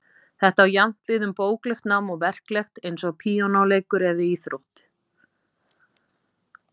Þetta á jafnt við um bóklegt nám og verklegt, eins og píanóleik eða íþróttir.